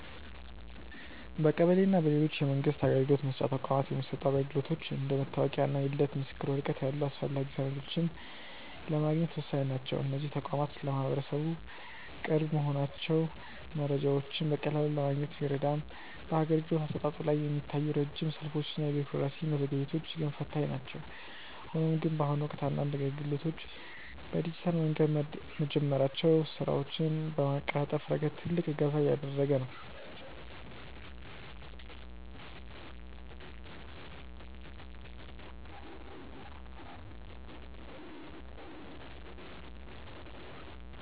በቀበሌ እና በሌሎች የመንግስት አገልግሎት መስጫ ተቋማት የሚሰጡ አገልግሎቶች እንደ መታወቂያ እና የልደት ምስክር ወረቀት ያሉ አስፈላጊ ሰነዶችን ለማግኘት ወሳኝ ናቸው። እነዚህ ተቋማት ለማህበረሰቡ ቅርብ መሆናቸው መረጃዎችን በቀላሉ ለማግኘት ቢረዳም፣ በአገልግሎት አሰጣጡ ላይ የሚታዩት ረጅም ሰልፎች እና የቢሮክራሲ መዘግየቶች ግን ፈታኝ ናቸው። ሆኖም ግን፣ በአሁኑ ወቅት አንዳንድ አገልግሎቶች በዲጂታል መንገድ መጀመራቸው ስራዎችን በማቀላጠፍ ረገድ ትልቅ እገዛ እያደረገ ነው።